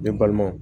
Ne balimaw